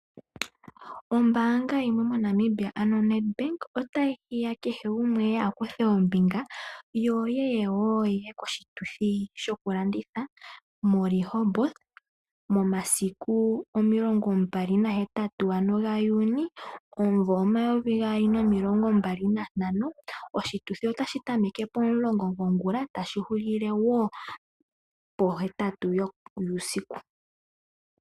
Ombaanga yimwe mo Namibia ano Nedbank otayi hiya kehe gumwe eye a kuthe ombinga yo yeye wo ihe koshituthi shoku landitha mo Rehoboth momasiku 28 ano ga Juni omumvo 2025, oshituthi otashi tameke pomulongo gongula tashi hulile wo pohetatu yuusiku.